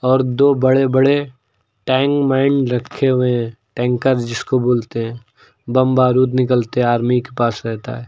और दो बड़े बड़े टैंक माइन रखे हुए हैं टैंकर जिसको बोलते हैं बम बारूद निकलते आर्मी के पास रहता है।